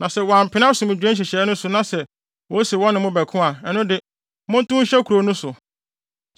Na sɛ wɔampene asomdwoe nhyehyɛe no so na sɛ wose wɔne mo bɛko a, ɛno de, montow nhyɛ kurow no so.